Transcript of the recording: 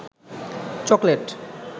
chocolate